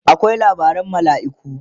akwai labaran malaiku